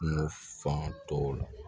Kungo faŋatɔw la